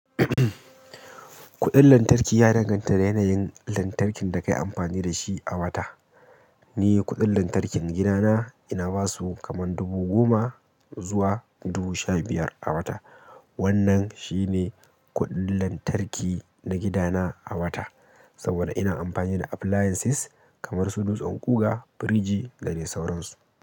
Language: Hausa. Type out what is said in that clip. Kuɗin lantarki, ya danganta da yanayin lantarkin da kayi amfani da shi a wata. Ni kuɗin lantarkin gidana ina basu kaman dubu goma zuwa dubu sha biyar a wata. Wannan shi ne, kuɗin lantarki na gidana a wata saboda ina amfani da appliances, kamar su dutsen ƙuga, firiji, da dai sauransu.